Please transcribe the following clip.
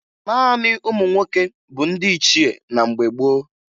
Naanị ụmụ nwoke bụ ndị ichie na mgbe gboo